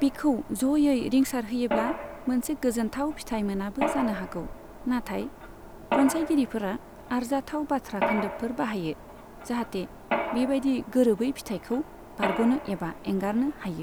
बिखौ ज'यै रिंसार होयोब्ला मोनसे गोजोनथाव फिथाय मोनाबो जानो हागौ, नाथाय रनसायगिरिफोरा आरजाथाव बाथ्रा खोन्दोबफोर बाहायो, जाहाथे बेबायदि गोरोबै फिथायखौ बारग'नो एबा एंगारनो हायो।